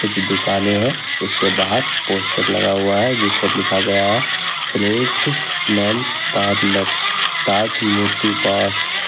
कुछ दुकानें है उसके बाहर पोस्टर लगा हुआ है जिस पर लिखा गया है fresh man parlour Taj Murti parts.